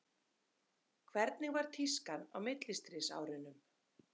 Hvernig var tískan á millistríðsárunum?